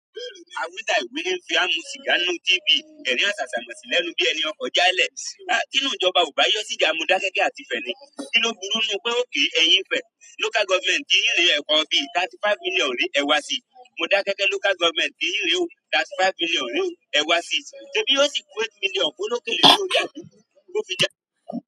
Awí tàì wí ní ń fi wá mu sìgá ńnú TV, ẹ̀rín àsàsàmòsì lẹ́nu bí ẹni ọkọ̀ ọ́ já lẹ̀. Tí inú ìjọba ò bá yọ́ síjà, Modákẹ́kẹ́ àti Ifẹ̀ ni. Kí ló burú ńnu pé ókay ẹ̀yin Ifẹ̀, local government yín rè é ẹbọ́ bí, thirty five million re ẹwá si. Modákẹ́kẹ́ local government ti yín rè é o, thirty five million rè é o, ẹ wá si. Ṣe bí yóò sì ku eight million fólókèlè bí orí àgún kó fi jẹ.